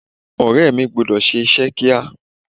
Ọ̀rẹ́ mi gbọ́dọ̀ ṣe iṣẹ́ kíá.